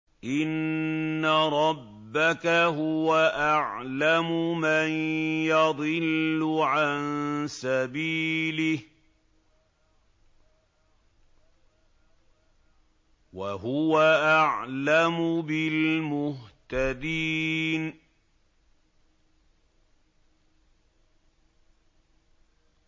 إِنَّ رَبَّكَ هُوَ أَعْلَمُ مَن يَضِلُّ عَن سَبِيلِهِ ۖ وَهُوَ أَعْلَمُ بِالْمُهْتَدِينَ